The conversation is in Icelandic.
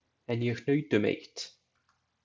En ég hnaut um eitt.